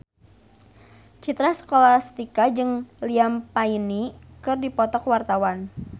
Citra Scholastika jeung Liam Payne keur dipoto ku wartawan